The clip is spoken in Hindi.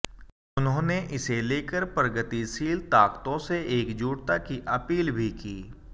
उन्होंने इसे लेकर प्रगतिशील ताकतों से एकजुटता की अपील भी की